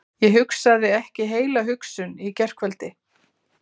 Ég hugsaði ekki heila hugsun í gærkvöldi.